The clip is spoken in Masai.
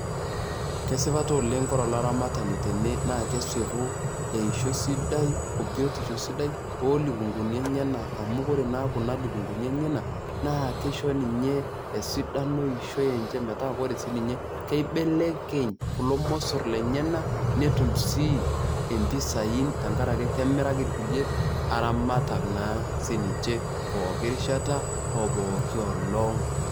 Kesipa taa oleng' kore olaramatani tene naa kesipu eishoi sidai obiotisho sidai oolukunguni enyenak amu ore naa kuna lukunguni eneyenak naa keisho ninye esidano eishoi enche metaa kore sii ninye keibelekeny kulo mosorr lenyenak netum sii impisai tenkarake kemiraki kulie aramatak naa sii ninche pooki rishata o pooki olong'.